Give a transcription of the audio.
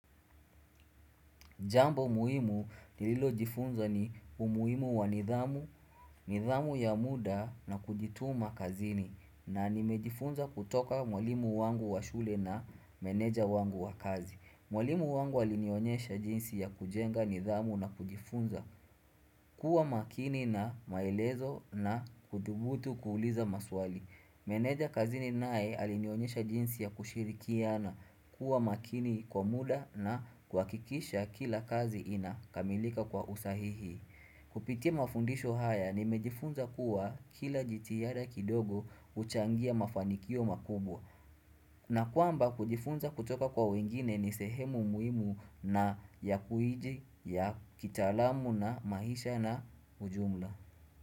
Jambo muhimu nililo jifunza ni umuhimu wa nidhamu, nidhamu ya muda na kujituma kazini na nimejifunza kwa mwalimu wangu wa shule na meneja wangu wa kazi. Mwalimu wangu alinionyesha jinsi ya kujenga nidhamu na kujifunza kuwa makini na maelezo na kudhubutu kuuliza maswali. Meneja kazini nae alinionyesha jinsi ya kushirikiana kuwa makini kwa muda na kua kikisha kila kazi ina kamilika kwa usahihi. Kupitia mafundisho haya ni mejifunza kuwa kila jitihada kidogo uchangia mafanikio makubwa. Na kwamba kujifunza kutoka kwa wengine ni sehemu muhimu na ya kitaalamu na maisha na ujumla.